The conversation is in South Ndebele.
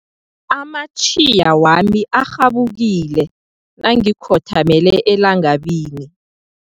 Amatjhiya wami arhabukile nangikhothamele elangabini.